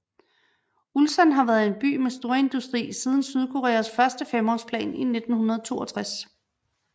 Ulsan har været en by med storindustri siden Sydkoreas første femårsplan i 1962